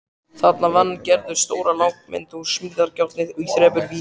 Þarna vann Gerður stóra lágmynd úr smíðajárni í þremur víddum.